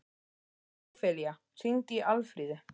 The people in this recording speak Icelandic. Ófelía, hringdu í Alfríði.